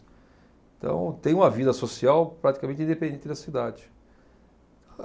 Então, tem uma vida social praticamente independente da cidade.